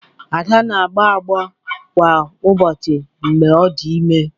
Ada na-agbọ agbọ kwa ụbọchị mgbe ọ dị ime